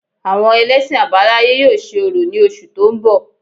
Àwọn ẹlẹ́sìn àbáláyé yóò ṣe orò ní oṣù tó ń bọ̀